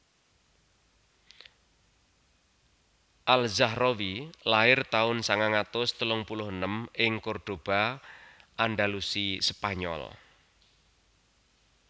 Al Zahrawi lair taun sangang atus telung puluh enem ing Cordoba Andalusi spanyol